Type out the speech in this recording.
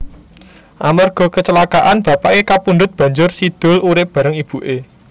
Amerga kecelakaa bapaké kapundhut banjur Si Doel urip bareng ibuké